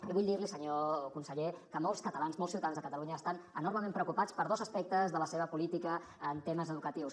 i vull dir li senyor conseller que molts catalans molts ciutadans de catalunya estan enormement preocupats per dos aspectes de la seva política en temes educatius